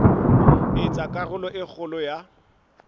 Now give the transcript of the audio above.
etsa karolo e kgolo ya